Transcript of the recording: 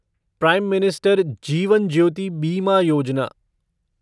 prime minister Jeevan Jyoti Bima Yojana